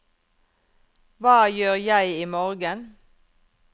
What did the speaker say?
hva gjør jeg imorgen